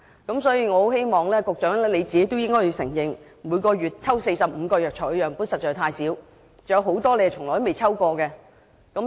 我很希望局長承認，每月抽取45個藥材樣本實在太少，還有多種藥材從未被抽驗。